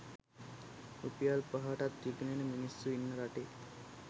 රුපියල් පනහටත් විකිනෙන මිනිස්සු ඉන්න රටේ